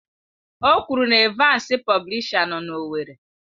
O kwuru na Evansi Publisha nọ na owerri.